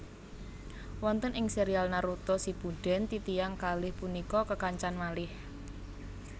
Wonten ing serial Naruto Shippuden titiyang kalih punika kekancan malih